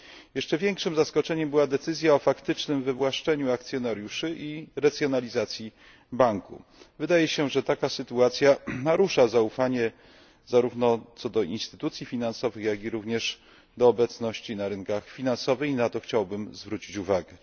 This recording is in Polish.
Jeszcze większym zaskoczeniem była decyzja o faktycznym wywłaszczeniu akcjonariuszy i renacjonalizacji banku. Wydaje się, że taka sytuacja narusza zaufanie zarówno do instytucji finansowych, jak i również do obecności na rynkach finansowych, i na to chciałbym zwrócić uwagę.